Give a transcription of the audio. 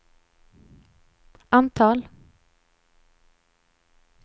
antal